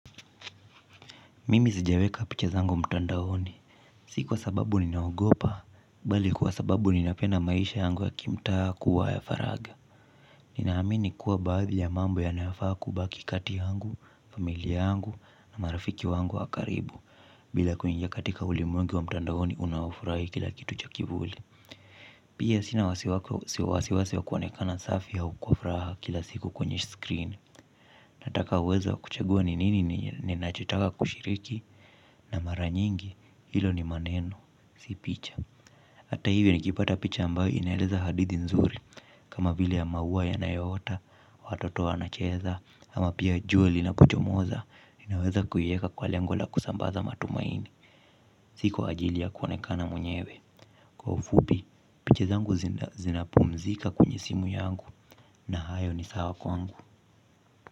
Mimi sijaweka picha zangu mtandaoni. Si kwa sababu ninaogopa bali kwa sababu ninapenda maisha yangu ya kimtaa kuwa ya faragha. Ninaamini kuwa baadhi ya mambo yanayofaa kubaki kati yangu, familia yangu na marafiki wangu wa karibu. Bila kuingia katika ulimwengu wa mtandaoni unaofurahi kila kitu cha kivuli. Pia sina wasiwasi wa kuonekana safi au kwa furaha kila siku kwenye screen. Nataka uwezo wa kuchagua ni nini ninachotaka kushiriki na mara nyingi, hilo ni maneno, si picha. Hata hivi nikipata picha ambayo inaeleza hadithi nzuri. Kama vile ya maua yanayoota, watoto wanacheza ama pia jua linapochomoza, inaweza kuiweka kwa lengo la kusambaza matumaini. Si kwa ajili ya kuonekana mwenyewe. Kwa ufupi, picha zangu zinapumzika kwenye simu yangu na hayo ni sawa kwangu.